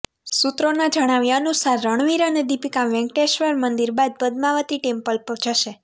સૂત્રોના જણાવ્યા અનુસાર રણવીર અને દીપિકા વેંકટેશ્વર મંદિર બાદ પદ્માવતી ટેમ્પલ જશે